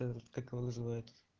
как его называют